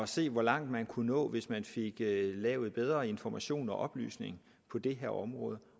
se hvor langt man kunne nå hvis man fik lavet bedre information og oplysning på det her område